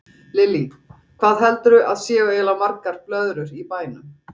Lillý: Hvað heldurðu að séu eiginlega margar blöðrur í bænum?